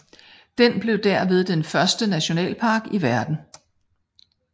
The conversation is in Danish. Den blev derved den første nationalpark i verden